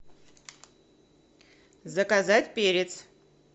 заказать перец